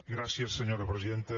gràcies senyora presidenta